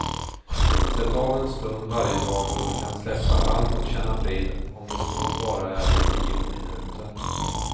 Sätt av en stund varje dag då du kan släppa allt och känna frid, om det så bara är i tio minuter.